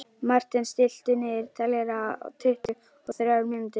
Marten, stilltu niðurteljara á tuttugu og þrjár mínútur.